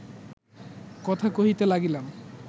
কথা কহিতে লাগিলাম